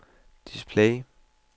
display